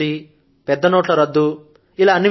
GS T పెద్ద నోట్ల రద్దు